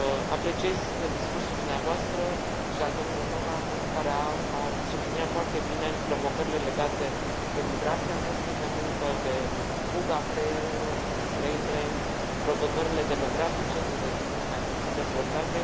Apreciez discursul dumneavoastră și al domnului Novakov, care a subliniat foarte bine provocările legate de migrația forței de muncă, de fuga creierelor, brain drain provocările demografice din regiunile mai puțin dezvoltate.